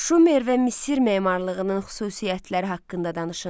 Şumer və Misir memarlığının xüsusiyyətləri haqqında danışın.